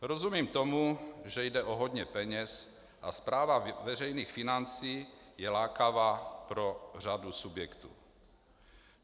Rozumím tomu, že jde o hodně peněz a správa veřejných financí je lákavá pro řadu subjektů.